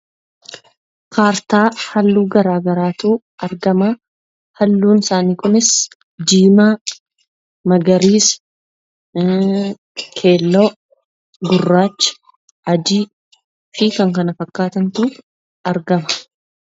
Kaartaa halluu gara garaatu argama. Halluun isaanii kunis diimaa, magariisa, keelloo, gurracha, adii fi kan kana fakkaatantu argama.